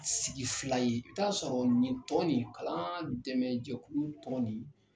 Sigi fila ye i bi t'a sɔrɔ nin tɔn ni kalan dɛmɛjɛkulu tɔn ni.